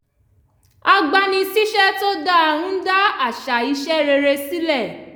agbani-síṣẹ́ tó dáa ń dá àṣà iṣẹ́ rere sílẹ̀